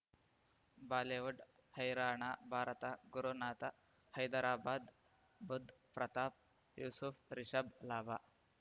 Bollywood ಹೈರಾಣ ಭಾರತ ಗುರುನಾಥ ಹೈದರಾಬಾದ್ ಬುಧ್ ಪ್ರತಾಪ್ ಯೂಸುಫ್ ರಿಷಬ್ ಲಾಭ